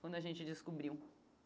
Quando a gente descobriu.